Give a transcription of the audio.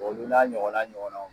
bɔn olu n'a ɲɔgɔna ɲɔgɔnaw